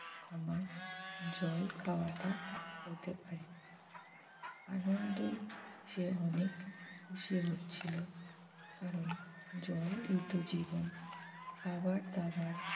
এবার হয়ত জল খাওয়াটা হতে পারে আনন্দে সে অনেক খুশি হচ্ছিল। কারণ জলই তো জীবন খাবার দাবার